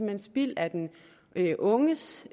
hen spild af den unges